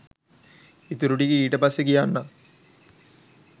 ඉතුරු ටික ඊට පස්සෙ කියන්නං